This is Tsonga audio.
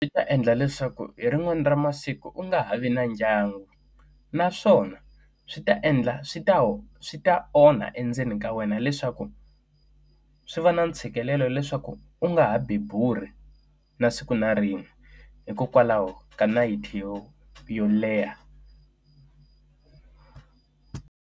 Swi ta endla leswaku hi rin'wana ra masiku u nga ha vi na ndyangu, naswona swi ta endla swi ta ho swi ta onha endzeni ka wena leswaku swi va na ntshikelelo leswaku u nga ha bebuli na siku na rin'we hikokwalaho ka nayiti yo yo leha.